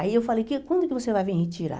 Aí eu falei, que quando que você vai vir retirar?